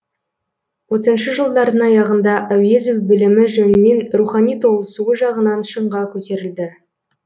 отызыншы жылдардың аяғында әуезов білімі жөнінен рухани толысуы жағынан шыңға көтерілді